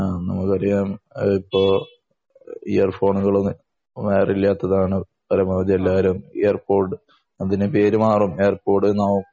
അഹ് നമുക്കറിയാം ഇയർഫോൺ ഇപ്പൊ വയർ ഇല്ലാത്തതാണ് പരമാവധി എല്ലാവരും ഇയർ പോഡ് അതിനു പേര് മാറും എയർ പോഡ്ആവും